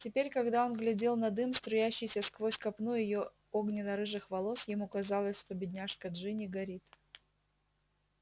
теперь когда он глядел на дым струящийся сквозь копну её огненно-рыжих волос ему казалось что бедняжка джинни горит